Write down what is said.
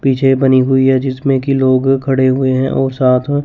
पीछे बनी हुई हैं जिसमें की लोग खड़े हुए हैं और साथ--